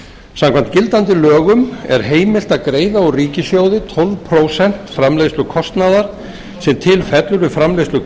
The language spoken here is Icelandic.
samkvæmt gildandi lögum er heimilt að greiða úr ríkissjóði tólf prósent framleiðslukostnaðar sem til fellur við framleiðslu